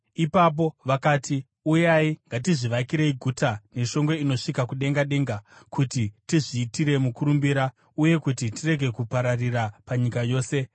Ipapo vakati, “Uyai, ngatizvivakirei guta neshongwe inosvika kudengadenga, kuti tizviitire mukurumbira uye kuti tirege kupararira panyika yose.”